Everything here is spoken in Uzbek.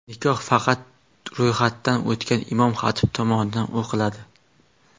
Nikoh faqat ro‘yxatdan o‘tgan imom-xatib tomonidan o‘qiladi.